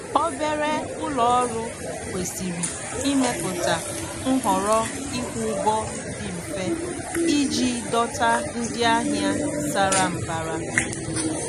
Obere ụlọ ọrụ kwesịrị ịmepụta nhọrọ ịkwụ ụgwọ dị mfe iji dọta ndị ahịa sara mbara.